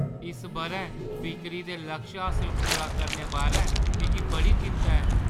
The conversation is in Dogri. इस बʼरै बिक्करी दे लक्ष हासल पूरा करने बारै मिगी बड़ी चिंत्ता ऐ।